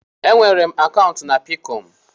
E nweela m akaụntụ na Peekọm.